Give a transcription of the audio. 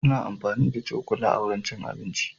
Ana amfani da cokula wurin cin abinci.